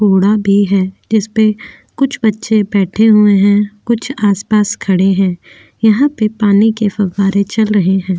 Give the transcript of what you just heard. कूड़ा भी है जिस पे कुछ बच्चे बैठे हुए है कुछ आसपास खड़े हैं। यहाँ पे पानी के फव्वारे चल रहे हैं।